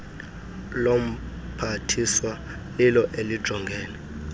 lomphathiswa lilo elijongene